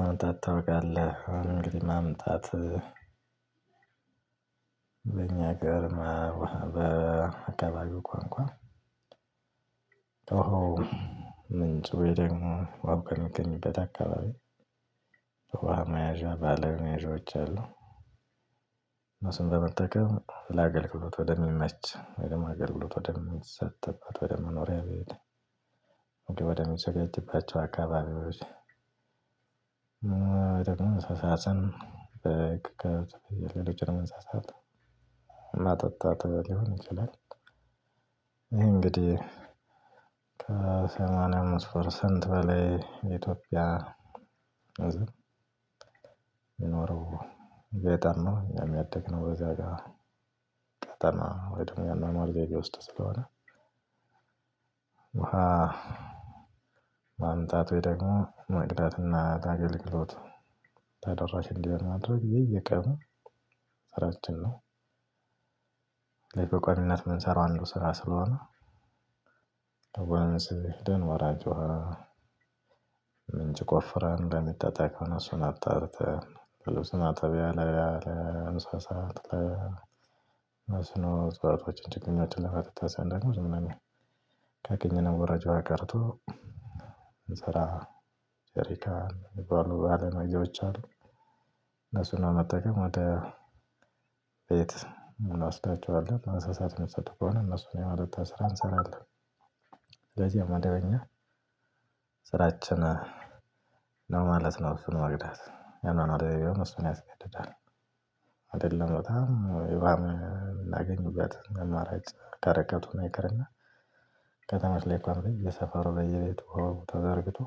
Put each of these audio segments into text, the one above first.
ማምጣት ታውቃለህ ማምጣት። በእኛ ሀገር በአከባቢው ቋንቋ ውሃው ምንጭ ወይ ደግሞ ውሃው ከሚገኝበት አካባቢ ውሃ መያዣ ባለመያዣዎች አሉ። እነሱን በመጠቀም ለአገልግሎት ወደሚመች ወይ ደግሞ አገልግሎት ወደምንሰጥባቸው ወደ መኖሪያ ቤት ምግብ ወደሚዘጋጅባቸው አካባቢዎች። እንስሳትን በግ ከብት ፍየል ሌሎችንም እንስሳት ማጠጣት ሊሆን ይችላል። ይሄ እንግዲህ ከሰማንያ አምስት ፐርሰንት በላይ ኢትዮጵያ ህዝብ የሚኖረው ገጠር ነው እኛም ያደግነው በዛ ጋር ገጠር ነው ወይ ደግሞ ያኗኗር ዘይቤ ውስጥ ስለሆነ። ውሃ ማምጣት ወይ ደግሞ መቅዳትና ታገልግሎት ተደራሽ እንዲሆን ማድረግ የየቀኑ ስራችን ነው። ስለዚህ በቋሚነት የምንሰራው አንዱ ስራ ስለሆነ። ወደ ወንዝ ሄደን ወራጇ ውሃ ምንጭ ቆፍረን ለሚጠጣ ከሆነ እሱን አጣርተን ለልብስ ማጠቢያ ለእንስሳት ለመስኖ ህጽበቶች ችግኞችን ለማጠጣት ሲሆን ደግሞ ዝም ብሎ ካገኘነው ወራጅ ውሃ ቀድቶ እንሰራ። ጀሪካን የሚባሉ መያዣዎች አሉ። እነሱን መጠቀም ወደ ቤት እንወስዳቸዋለን አንሳሳት የሚጠጡ ከሆነ እነሱን የማጠጣት ስራ እንሰራለን። ለዚያም መደበኛ ስራችን ነው ማለት ነው። እሱን መቅዳት ያኗኗር ዘይቤው እሱን ያስገድዳል። አይደለም በጣም ውሃ የምናገኝበት አማራጭ ከርቀት ሆኖ ይቅርና ከተሞች ላይ እንኳን በየሰፈሩ በየቤቱ ውሃው ተዘርግቶ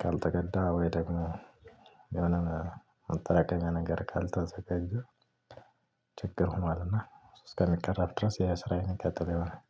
ካልተቀዳ ወይ ደግሞ የሆነ ማጠራቀሚያ ነገር ካልተዘጋጀ ችግር ሆኗልና እስከሚቀረፍ ድረስ ያ ስራ የሚቀጥለው ይሆናል።